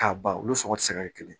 K'a ban olu sɔngɔ ti se ka kɛ kelen